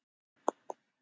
Og ég spyr á sama hátt: